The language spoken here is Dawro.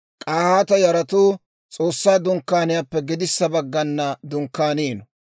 K'ahaata yaratuu S'oossaa Dunkkaaniyaappe gedissa baggana dunkkaaniino.